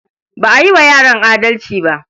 Ba a yi wa yaran adalci ba.